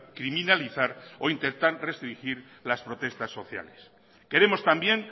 criminalizar o intentar restringir las protestas sociales queremos también